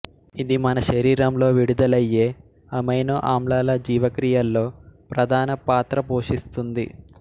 ఇది మన శరీరంలో విడుదలయ్యే అమైనొ ఆమ్లాల జీవక్రియల్లో ప్రధాన పాత్ర పోషిస్తుంది